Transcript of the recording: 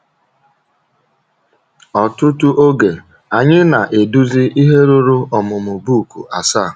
Ọtụtụ oge, anyị na - eduzi ihe ruru ọmụmụ book asaa.